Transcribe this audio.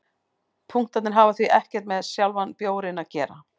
Punktarnir hafa því ekkert með sjálfan bjórinn að gera.